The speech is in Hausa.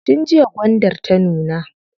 Tun jiya gwandar ta nuna.